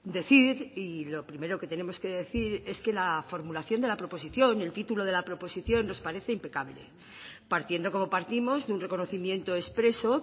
decir y lo primero que tenemos que decir es que la formulación de la proposición el título de la proposición nos parece impecable partiendo como partimos de un reconocimiento expreso